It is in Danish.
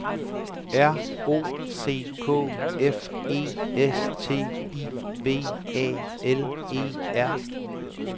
R O C K F E S T I V A L E R